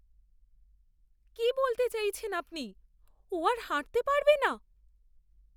কি বলতে চাইছেন আপনি? ও আর হাঁটতে পারবে না?